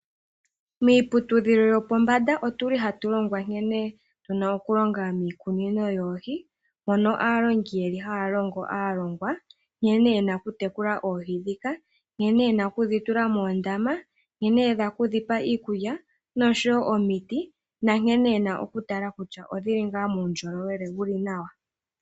Miiputudhilo yopombanda ohatu longwa nkene tuna okulonga miikunino yoohi, mono aalongi haya longo aalongwa nkene yena okutekula oohi ndhika, nkene yena okudhitula moondama, nkene yena okudhipa iikulya nosho wo omiti nankene yena okutala kutya odhili ngaa muundjolowele wuli nawa.